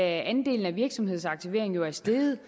at andelen af virksomhedsaktivering er steget